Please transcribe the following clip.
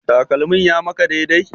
Takalmin ya maka dai dai?